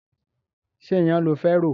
Ṣé iyan lo fẹ́ rò?